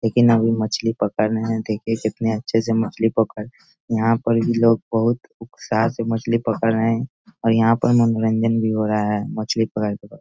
लेकिन अभी मछली पकड़ने में देखिए कितने अच्छे से मछली पकड़ना यहाँ पर भी लोग बहुत उत्साह से मछली पकड़ रहे है और यहाँ पर मनोरंजन भी हो रहा है मछली पक --